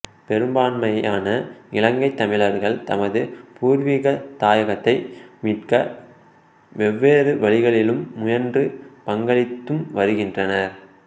பெரும்பான்மையான இலங்கைத் தமிழர்கள் தமது பூர்வீக தாயகத்தை மீட்க வெவ்வேறு வழிகளிலும் முயன்றும் பங்களித்தும் வருகின்றனர்